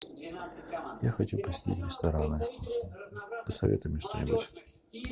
я хочу посетить рестораны посоветуй мне что нибудь